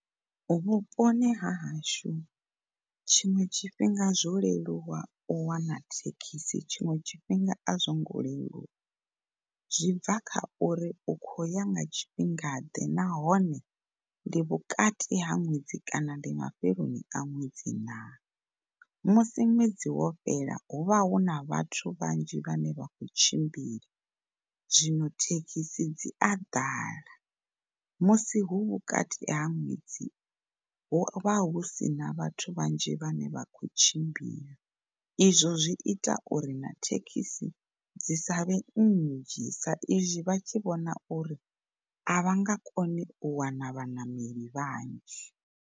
Vhuponi ha hashu tshiṅwe tshifhinga zwo leluwa u wana thekhisi tshiṅwe tshifhinga a zwo ngo leluwa zwibva kha uri u kho ya nga tshifhingaḓe nahone ndi vhukati ha ṅwedzi kana ndi mafheloni a nwedzi na. Musi ṅwedzi wo fhela hu vha huna vhathu vhanzhi vhane vha kho tshimbila zwino thekhisi dzi a ḓala. Musi hu vhukati ha ṅwedzi huvha husina vhathu vhanzhi vhane vha kho tshimbila izwo zwi ita uri na thekhisi dzi savhe nnzhi sa izwi vha tshi vhona uri a vha nga koni u wana vhaṋameli vhanzhi.